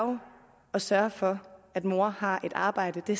at sørge for at mor har et arbejde det